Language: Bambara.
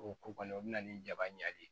O ko kɔni o bɛna ni jaba ɲa ye